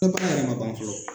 yɛrɛ ma ban fɔlɔ